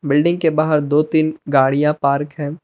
Building के बाहर दो तीन गाड़ियां पार्क है।